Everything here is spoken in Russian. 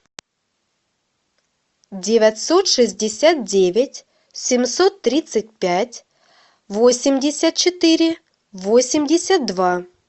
девятьсот шестьдесят девять семьсот тридцать пять восемьдесят четыре восемьдесят два